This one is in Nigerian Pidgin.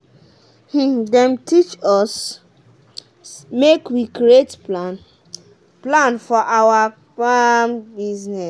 dem teach us make we create plan for plan for awa farm business.